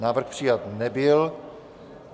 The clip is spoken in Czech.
Návrh přijat nebyl.